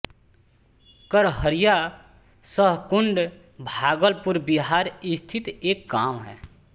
करहरिया सहकुंड भागलपुर बिहार स्थित एक गाँव है